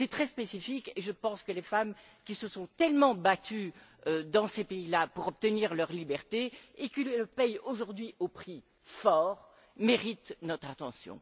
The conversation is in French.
C'est très spécifique et je pense que les femmes, qui se sont tellement battues dans ces pays là pour obtenir leur liberté et qui le paient aujourd'hui au prix fort, méritent notre attention.